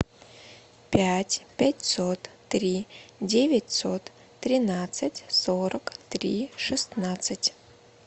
пять пятьсот три девятьсот тринадцать сорок три шестнадцать